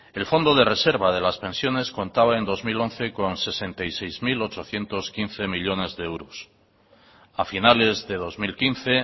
el fondo de reserva de las pensiones contaba en el dos mil once con sesenta y seis mil ochocientos quince millónes de euros a finales de dos mil quince